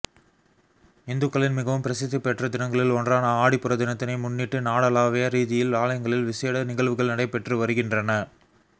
இந்துக்களின் மிகவும் பிரசித்திபெற்ற தினங்களில் ஒன்றான ஆடிப்பூர தினத்தினை முன்னிட்டு நாடளாவிய ரீதியில் ஆலயங்களில் விசேட நிகழ்வுகள் நடைபெற்று வருகின்றன